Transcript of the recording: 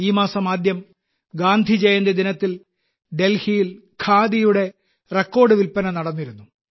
ഈ മാസം ആദ്യം ഗാന്ധിജയന്തി ദിനത്തിൽ ഡൽഹിയിൽ ഖാദിയുടെ റെക്കോർഡ് വിൽപ്പന നടന്നിരുന്നു